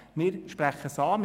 Wir sprechen es an.